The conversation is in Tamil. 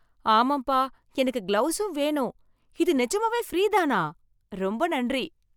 ஆமாம்பா! எனக்கு கிளவுஸும் வேணும். இது நிஜமாவே ஃப்ரீதானா? ரொம்ப நன்றி!